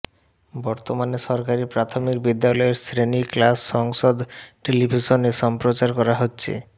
বর্তমানে সরকারি প্রাথমিক বিদ্যালয়ের শ্রেণি ক্লাস সংসদ টেলিভিশনে সম্প্রচার করা হচ্ছে